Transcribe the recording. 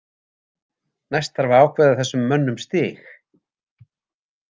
Næst þarf að ákveða þessum mönnum stig.